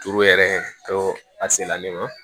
Turu yɛrɛ tɔ a se la ne ma